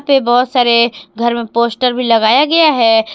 पे बहोत सारे घर में पोस्टर भी लगाया गया है।